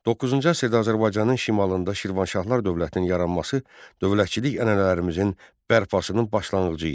9-cu əsrdə Azərbaycanın şimalında Şirvanşahlar dövlətinin yaranması dövlətçilik ənənələrimizin bərpasının başlanğıcı idi.